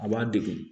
A b'a degun